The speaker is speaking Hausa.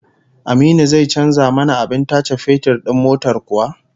Aminu zai canza mana abin tace fetur din motar kuwa?